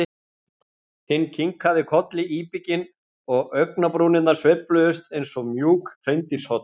Hinn kinkaði kolli íbygginn og augnabrúnirnar sveifluðust eins og mjúk hreindýrshorn.